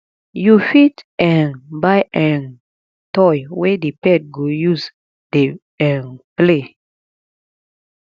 you fit um buy um toy wey di pet go use dey um play